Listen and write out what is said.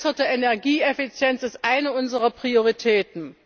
B. verbesserte Energieeffizienz ist eine unserer Prioritäten.